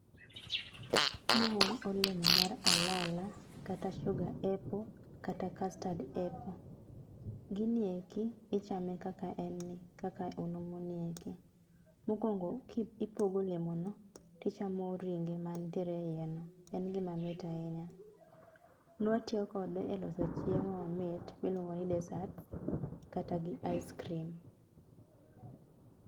maen olemo mar alala kata sugar apple kata custard apple ginieki ichame kaka en ni kaka onumu nieki. mokwongo ipogo olemo no tichamo ringe mantie eiye no. en gima mit ahinya nwatiyo kode e loso chiemo mamit miluongo ni dessert kata gi ice cream